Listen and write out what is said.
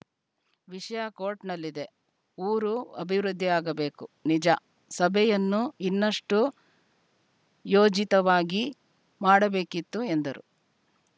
ವಿಷಯ ಕೋರ್ಟ್‌ನಲ್ಲಿದೆ ಊರು ಅಭಿವೃದ್ಧಿಯಾಗಬೇಕು ನಿಜ ಸಭೆಯನ್ನು ಇನ್ನಷ್ಟುಯೋಜಿತವಾಗಿ ಮಾಡಬೇಕಿತ್ತು ಎಂದರು